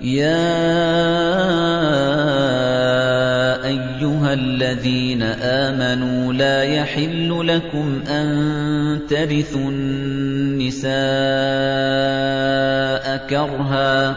يَا أَيُّهَا الَّذِينَ آمَنُوا لَا يَحِلُّ لَكُمْ أَن تَرِثُوا النِّسَاءَ كَرْهًا ۖ